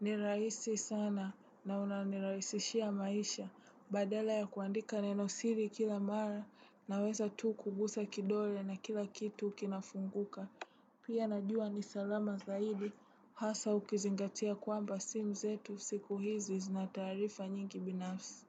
Ni rahisi sana na unanirahisishia maisha. Badala ya kuandika nenosiri kila mara naweza tu kugusa kidole na kila kitu kinafunguka. Pia najua ni salama zaidi. Hasa ukizingatia kwamba simu zetu siku hizi zina taarifa nyingi binafsi.